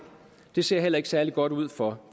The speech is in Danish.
det ser heller ikke særlig godt ud for